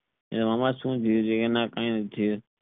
કઈ નથી